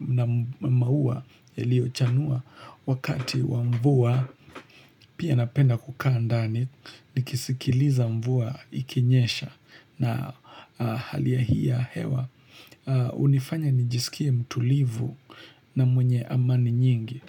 na maua yalio chanua wakati wa mvua. Pia napenda kukaa ndani, nikisikiliza mvua ikinyesha na hali hii ya hewa. Hunifanya nijisikie mtulivu na mwenye amani nyingi.